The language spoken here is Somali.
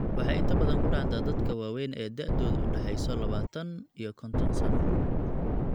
Waxay inta badan ku dhacdaa dadka waaweyn ee da'doodu u dhaxayso labataan iyo konton sano.